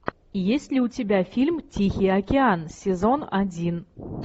есть ли у тебя фильм тихий океан сезон один